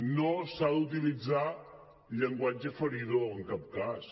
no s’ha d’utilitzar llenguatge feridor en cap cas